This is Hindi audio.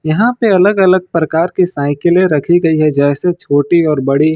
यहां पे अलग अलग प्रकार की साइकिले रखी गई है जैसे छोटी और बड़ी।